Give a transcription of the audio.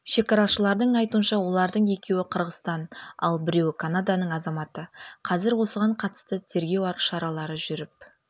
шекарашылардың айтуынша олардың екеуі қырғызстан ал біреуі канаданың азаматы қазір осыған қатысты тергеу шаралары жүріп